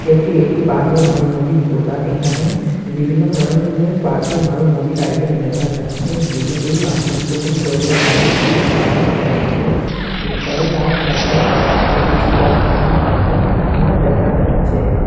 এটি একটি বাজে মাল মুদির দোকান এখানে বিভিন্ন ধরনের বাজে মাল মুদির আইটেম দেখা যাচ্ছে মানুষের নিত্যদিন প্রয়োজন লাগে যেমন- সাবান শ্যাম্পু ইত্যাদি তার সাথে ক-কিছু কসমেটিক্স আইটেমও দেখা যাচ্ছে।